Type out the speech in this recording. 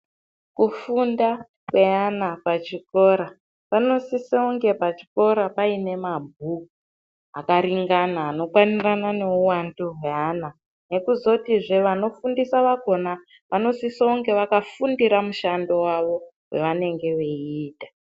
Kufunda kweana pachikora panosisa kunge pachikora paine mabhuku akaringana anokwanirana neuwandu hweana nekuzotizve vanofundisa vakona vanosise kunge vakafundira mushando wawo wavanenge veiita.